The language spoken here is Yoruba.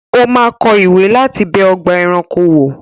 O máa kọ ìwé láti bẹ ọgbà-ẹranko wò.